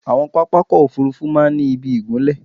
Àwọn pápákọ̀ òfúrufú máa ń ni ìbí ìgunlẹ̀